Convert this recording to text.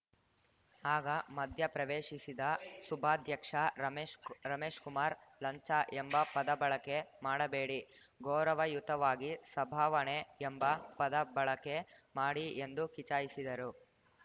ಆಗ ಮಧ್ಯಪ್ರವೇಶಿಸಿದ ಸುಭಾಧ್ಯಕ್ಷ ರಮೇಶ್‌ ಕುಮಾರ್‌ ಲಂಚ ಎಂಬ ಪದ ಬಳಕೆ ಮಾಡಬೇಡಿ ಗೌರವಯುತವಾಗಿ ಸಭಾವಣೆ ಎಂಬ ಪದ ಬಳಕೆ ಮಾಡಿ ಎಂದು ಕಿಚಾಯಿಸಿದರು